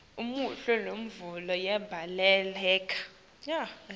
umuhle mvunulo yemhlaba